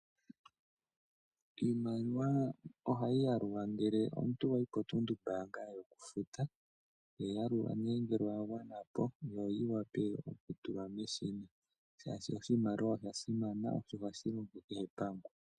Iimaliwa ohayi yalulwa ngele omuntu wa yi potunumbaanga yokufuta. To yi yalula nduno ngele oya gwana po, opo yi wape okutulwa meshina, oshoka oshimaliwa osha simana, oshoka ohashi longo kehe pamwe.